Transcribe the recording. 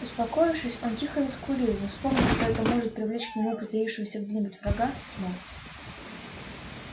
успокоившись он тихо заскулил но вспомнив что это может привлечь к нему притаившегося где-нибудь врага смолк